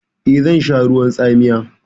Eh, zan sha ruwan tsamiya.